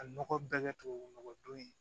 A nɔgɔ bɛɛ kɛ tubabu nɔgɔ don ye